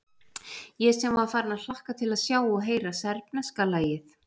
Ég sem var farinn að hlakka til að sjá og heyra serbneska lagið.